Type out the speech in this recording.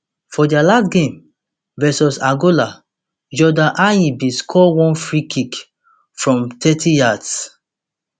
for dia last game v angola jordan ayew bin score one freekick from thirty yards